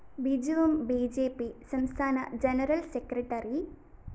ബിജുവും B J P സംസ്ഥാന general secretary A